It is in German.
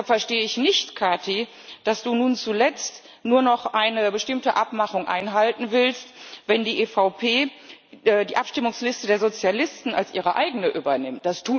Deshalb verstehe ich nicht, Kati, dass du nun zuletzt nur noch eine bestimmte Abmachung einhalten willst, wenn die EVP die Abstimmungsliste der Sozialisten als ihre eigene übernimmt.